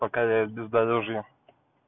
пока я в бездорожье